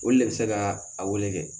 Olu le be se ka a wele dɛ